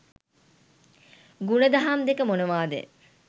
ගුණදහම් දෙක මොනවාද?